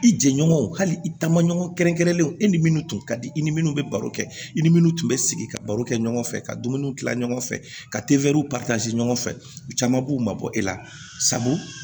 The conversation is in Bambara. I jɛɲɔgɔnw hali i taamaɲɔgɔn kɛrɛnkɛrɛnlenw e ni minnu tun ka di i ni minnu bɛ baro kɛ i ni minnu tun bɛ sigi ka baro kɛ ɲɔgɔn fɛ ka dumuni kila ɲɔgɔn fɛ ka tefɛriw ɲɔgɔn fɛ u caman b'u mabɔ e la sabu